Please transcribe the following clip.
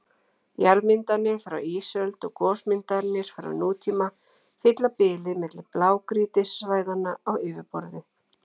Jarðmyndanir frá ísöld og gosmyndanir frá nútíma fylla bilið milli blágrýtissvæðanna á yfirborði.